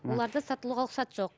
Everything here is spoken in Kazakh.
ы оларды сатылуға жоқ